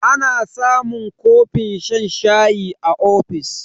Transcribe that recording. Ana samun kofin shan shayi a ofis.